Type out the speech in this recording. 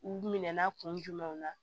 U minɛ na kun jumɛn na